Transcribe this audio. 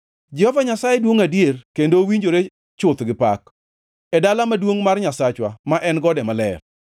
Jehova Nyasaye duongʼ adier, kendo owinjore chuth gi pak, e dala maduongʼ mar Nyasachwa, ma en gode maler.